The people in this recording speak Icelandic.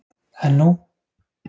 En nú?